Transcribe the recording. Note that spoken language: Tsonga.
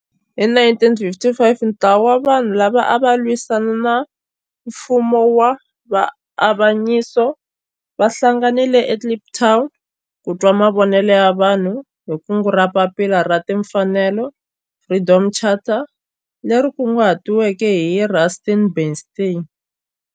Hi 1955 ntlawa wa vanhu lava ava lwisana na nfumo wa avanyiso va hlanganile eKliptown ku twa mavonelo ya vanhu hi kungu ra Papila ra Tinfanelo, Freedom Charter, leri kunguhatiweke hi Rusty Bernstein.